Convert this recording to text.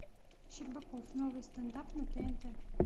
щербаков новый стенд ап на тнт